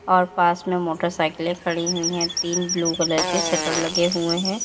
और पास में मोटरसाइकिले खड़ी हुई हैं तीन ब्लू कलर के शटर लगे हुए हैं।